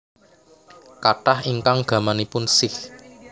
Kathah ingkang gamanipun Sikh